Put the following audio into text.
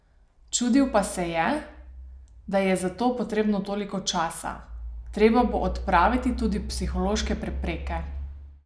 Čudil pa se je, da je za to potrebno toliko časa: "Treba bo odpraviti tudi psihološke prepreke.